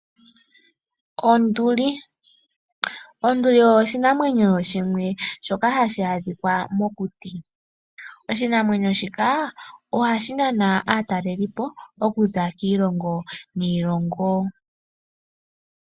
Onduli; Onduli oshinamwenyo shimwe shoka ha shi adhika mokuti. Oshinamwenyo shika oha shi nana aatalelipo kuza kiilongo niilongo.